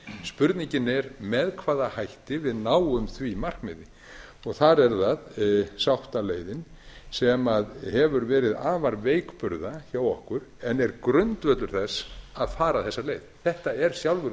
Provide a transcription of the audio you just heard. spurningin er með hvaða hætti við náum því markmiði þar er það sáttaleiðin sem hefur verið afar veikburða hjá okkur en er grundvöllur þess að fara þessa leið þetta er sjálfur